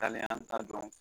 Hali an t'a dɔn